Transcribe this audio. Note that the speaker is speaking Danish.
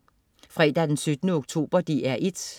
Fredag den 17. oktober - DR 1: